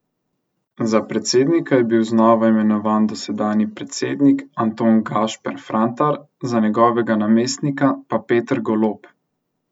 Za predsednika je bil znova imenovan dosedanji predsednik Anton Gašper Frantar, za njegovega namestnika pa Peter Golob.